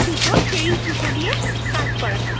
সুতো, সেই সুতো দিয়ে কাজ করা থাকে